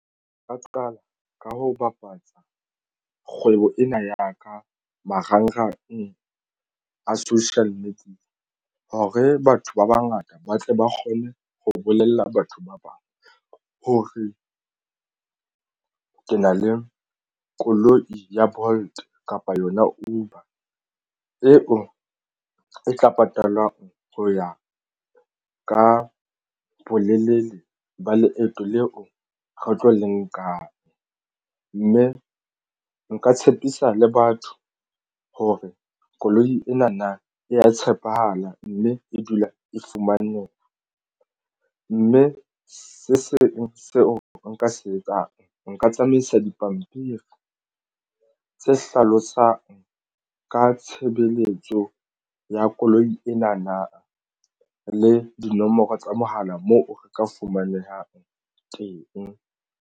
Nka qala ka ho bapatsa kgwebo ena ya ka marangrang social media hore batho ba bangata ba tle ba kgone ho bolella batho ba bang. Ho re ke na le koloi ya Bolt kapa yona Uber eo e tla patalwang ho ya ka bolelele ba leeto leo re tlo le nkang mme nka tshepisa le batho hore koloi ena na e ya tshepahala, mme e dula e fumaneha mme se seng seo nka se etsang. Nka tsamaisa dipampiri tse hlalosang ka tshebeletso ya koloi ena na le dinomoro tsa mohala moo re ka fumanehang teng.